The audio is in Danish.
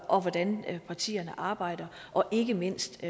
om hvordan partierne arbejder og ikke mindst i